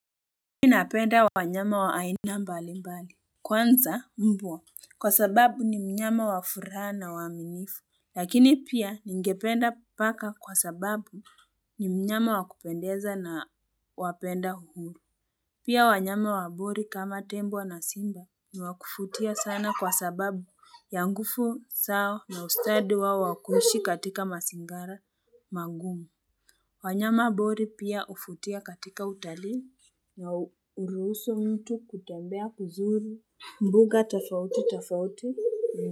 Mi napenda wanyama wa aina mbali mbali kwanza mbwa kwa sababu ni mnyama wa furaha na uaminifu lakini pia ningependa paka kwa sababu ni mnyama wa kupendeza na wapenda uhuru pia wanyama wa bori kama tembo na simba ni wa kufutia sana kwa sababu ya ngufu sawa na ustadi wao wa kuishi katika masingara magumu wanyama bori pia ufutia katika utalii na uruhusu mtu kutembea kuzuri mbuga tafauti tafauti.